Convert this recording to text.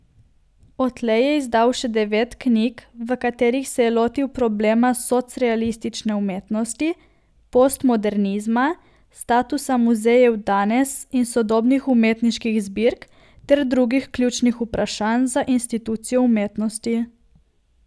Odtlej je izdal še devet knjig, v katerih se je lotil problema socrealistične umetnosti, postmodernizma, statusa muzejev danes in sodobnih umetniških zbirk ter drugih ključnih vprašanj za institucijo umetnosti.